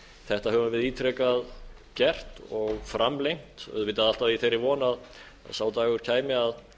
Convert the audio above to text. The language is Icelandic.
þetta höfum við ítrekað gert og framlengt auðvitað alltaf í þeirri von að sá dagur kæmi